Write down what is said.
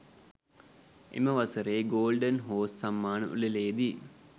එම වසරේ golden horse සම්මාන උළෙලේදී